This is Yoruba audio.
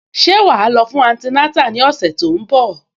Ṣé wà á lọ fún antinátà ní ọ̀sẹ̀ tó ń bọ̀?